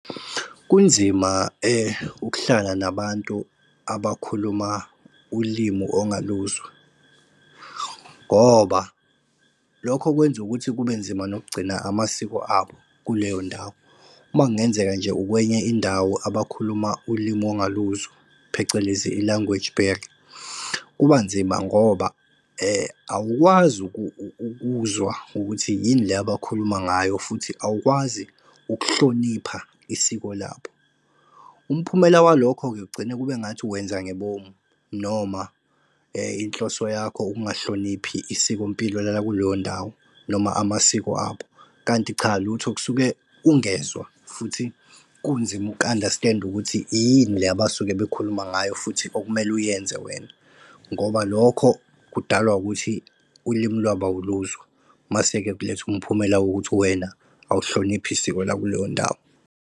Kunzima ukuhlala nabantu abakhuluma ulimu ongaluzwa ngoba lokho kwenza ukuthi kubenzima nokugcina amasiko abo kuleyo ndawo. Makungenzeka nje ukwenye indawo abakhuluma ulimi ongaluzwa, phecelezi i-language barrier, kuba nzima ngoba awukwazi ukuzwa ukuthi yini le abakhuluma ngayo futhi awukwazi ukuhlonipha isiko labo. Umphumela walokho-ke kugcina kube ngathi wenza ngebomu noma inhloso yakho ukungahloniphi isikompilo lakuleyo ndawo, noma amasiko abo. Kanti cha lutho kusuke ungezwa futhi, kunzima uku-understand-a ukuthi yini le abasuke bekhuluma ngayo futhi okumele uyenze wena. Ngoba lokho kudalwa ukuthi ulimi lwabo awuluzwa, mase-ke kuletha umphumela wokuthi wena uwuhloniphi isiko lakuleyo ndawo.